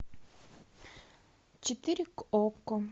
четыре к окко